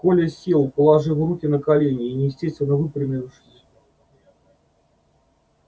коля сел положив руки на колени и неестественно выпрямившись